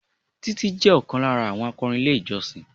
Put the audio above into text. Títí jẹ́ ọ̀kan lára àwọn akọrin ilé ìjọsìn